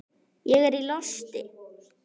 Ég er í losti.